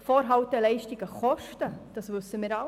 Vorhalteleistungen kosten, das wissen wir alle.